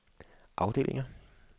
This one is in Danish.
afdelinger